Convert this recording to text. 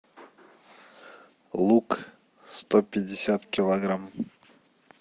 лук сто пятьдесят килограмм